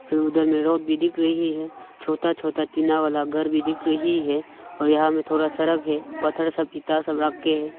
फिर उधर में भी दिख रही है छोटा छोटा टीना वाला घर भी दिख रही है और यहां हमें में थोड़ा सड़क है पत्थर सब सब रख के--